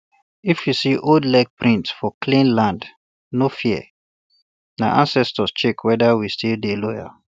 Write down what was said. if you see old leg print um for clean land no fearna ancestors check whether we still dey loyal